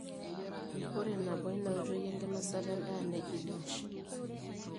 ore nabo ina oitoi enkinosata endaa neji dash